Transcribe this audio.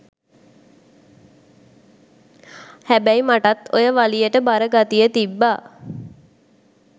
හැබයි මටත් ඔය වලියට බර ගතිය තිබ්බ